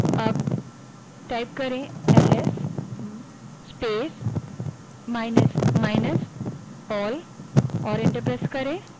अबls space minus minus all type करें और enter दबायें